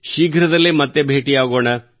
ಶೀಘ್ರದಲ್ಲೇ ಮತ್ತೆ ಭೇಟಿಯಾಗೋಣ